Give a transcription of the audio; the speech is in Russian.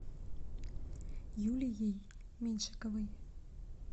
юлией меньшиковой